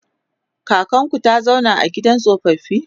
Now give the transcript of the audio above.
kakanku ta zauna a gidan tsofaffi?